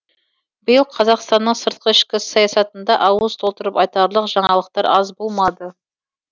биыл қазақстанның сыртқы ішкі саясатында ауыз толтырып айтарлық жаңалықтар аз болмады